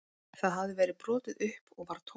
Það hafði verið brotið upp og var tómt